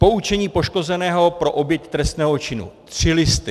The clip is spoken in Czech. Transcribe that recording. Poučení poškozeného pro oběť trestného činu: 3 listy.